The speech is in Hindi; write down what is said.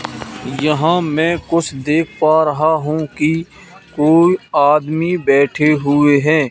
यहां मैं कुछ देख पा रहा हूं कि कोई आदमी बैठे हुए हैं।